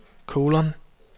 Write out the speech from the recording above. kolon